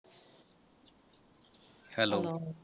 Hello